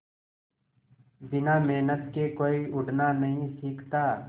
बिना मेहनत के कोई उड़ना नहीं सीखता